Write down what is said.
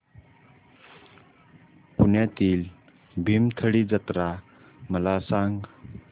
पुण्यातील भीमथडी जत्रा मला सांग